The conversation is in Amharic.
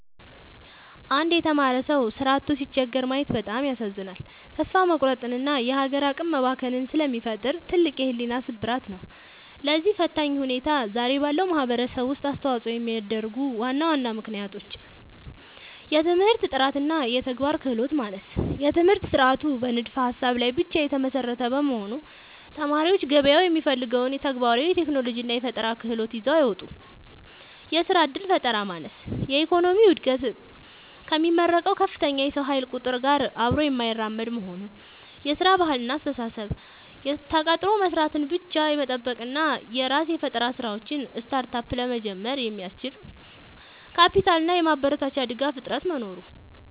አንድ የተማረ ሰው ሥራ አጥቶ ሲቸገር ማየት በጣም ያሳዝናል፤ ተስፋ መቁረጥንና የሀገር አቅም መባከንን ስለሚፈጥር ትልቅ የሕሊና ስብራት ነው። ለዚህ ፈታኝ ሁኔታ ዛሬ ባለው ማኅበረሰብ ውስጥ አስተዋፅኦ የሚያደርጉ ዋና ዋና ምክንያቶች፦ የትምህርት ጥራትና የተግባር ክህሎት ማነስ፦ የትምህርት ሥርዓቱ በንድፈ-ሀሳብ ላይ ብቻ የተመሰረተ በመሆኑ፣ ተማሪዎች ገበያው የሚፈልገውን ተግባራዊ የቴክኖሎጂና የፈጠራ ክህሎት ይዘው አይወጡም። የሥራ ዕድል ፈጠራ ማነስ፦ የኢኮኖሚው ዕድገት ከሚመረቀው ከፍተኛ የሰው ኃይል ቁጥር ጋር አብሮ የማይራመድ መሆኑ። የሥራ ባህልና አስተሳሰብ፦ ተቀጥሮ መሥራትን ብቻ የመጠበቅ እና የራስን የፈጠራ ሥራዎች (Startup) ለመጀመር የሚያስችል የካፒታልና የማበረታቻ ድጋፍ እጥረት መኖሩ ነው።